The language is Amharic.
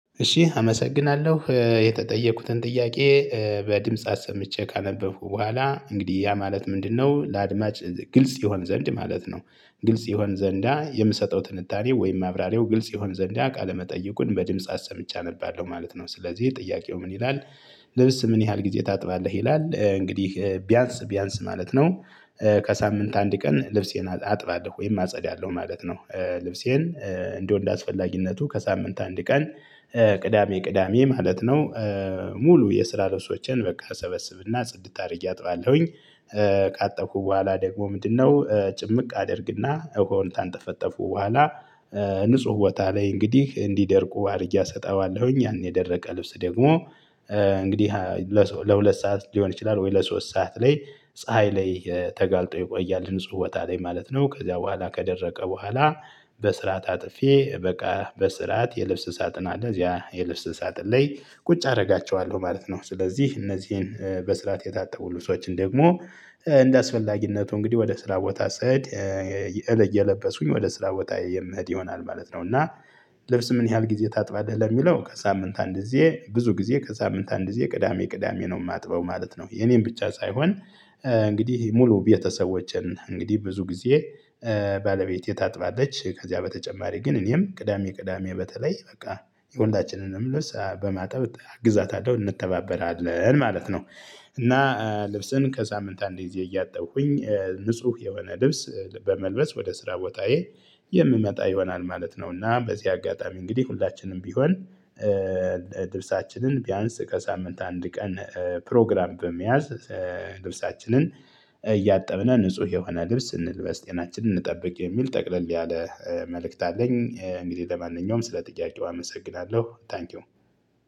እሺ አመሰግናለሁ የተጠየኩትን ጥያቄ በድምጽ አሰምቼ ካነበብኩ በኋላ እንግዲህ ያ ማለት ምንድነው ለአድማጭ ግልጽ ይሆን ዘንድ ማለት ነው። ግልጽ ይሆን ዘንዳ የምሰጠው ትንታኔው ወይም ማብራሪያው ግልጽ ይሆን ዘንድ አቃለመጠየቁን በድምጽ አሰምቼ አነባለሁ ማለት ነው። ስለዚህ ጥያቄው ምን ይላል? ልብስ ምን ያህል ጊዜ ታጥባለህ ይላል እንግዲህ ቢያንስ ማለት ነው። ከሳምንት አንድ ቀን ልብሴን አጥባለሁ ወይም አጸዳለሁ ማለት ነው። ልብሴን እንደው እንደ አስፈላጊነቱ ከሳምንት አንድ ቀን ቅዳሜ ቅዳሜ ማለት ነው። ሙሉ የስራ ልብሶቼን በቃ ሰበስብና ጽድት አድርጌ አጥባለሁኝ። ካጠብኩ በኋላ ደግሞ ምንድነው? ጭምቅ አድርግና ውሃውን ካንጠፈጠፉ በኋላ ንጹህ ቦታ ላይ እንግዲህ እንዲደርቁ አድርጌ አሰጣባለሁኝ። ያን የደረቀ ልብስ ደግሞ እንግዲህ ለሁለት ሰዓት ሊሆን ይችላል ወይ ለሶስት ሰዓት ላይ። ፀሀይ ላይ ተጋልጦ ይቆያል ንጹህ ቦታ ላይ ማለት ነው። ከዚያ በኋላ ከደረቀ በኋላ። በስርዓት አጥፌ በቃ በስርዓት የልብስ ሳጥን አለ እዚያ የልብስ ሳጥን ላይ ቁጭ አደርጋቸዋለሁ ማለት ነው። ስለዚህ እነዚህን በስርዓት የታጠቡ ሰዎችን ደግሞ እንደአስፈላጊነቱ እንግዲህ ወደ ስራ ቦታ ስሄድ እየለበስኩኝ ወደ ስራ ቦታ የምሄድ ይሆናል ማለት ነው። እና ልብስ ምን ያህል ጊዜ ታጥባለህ ለሚለው ከሳምንት አንድ ጊዜ ብዙ ጊዜ ከሳምንት አንድ ጊዜ ቅዳሜ ቅዳሜ ነው የማጥበው ማለት ነው። የኔን ብቻ ሳይሆን እንግዲህ ሙሉ ቤተሰቦቼን እንግዲህ ብዙ ጊዜ ባለቤቴ ታጥባለች ከዚያ በተጨማሪ ግን እኔም ቅዳሜ ቅዳሜ በተለይ በቃ የሁላችንንም ልብስ በማጠብ ግዛታለሁ እንተባበራለን ማለት ነው። እና ልብስን ከሳምንት አንዴ እዚህ ንጹህ የሆነ ልብስ በመልበስ ወደ ስራ ቦታዬ የምመጣ ይሆናል ማለት ነው። እና በዚህ አጋጣሚ እንግዲህ ሁላችንም ቢሆን ልብሳችንን ቢያንስ ከሳምንት አንድ ቀን ፕሮግራም በመያዝ ልብሳችንን እያጠብነን ንጹህ የሆነ ልብስ እንልበስ ጤናችንን እንጠብቅ የሚል ጠቅለል ያለ መልእክት አለኝ። እንግዲህ ለማንኛውም ስለ ጥያቄው አመሰግናለሁ ታንኪው።